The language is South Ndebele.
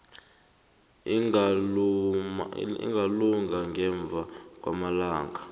ingalunga ngemva kwamalanga